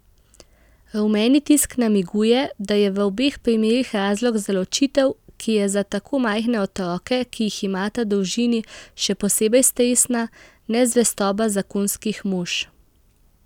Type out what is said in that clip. Rumeni tisk namiguje, da je v obeh primerih razlog za ločitev, ki je za tako majhne otroke, ki jih imata družini, še posebej stresna, nezvestoba zakonskih mož.